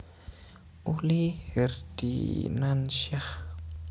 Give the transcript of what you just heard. Uli Herdinansyah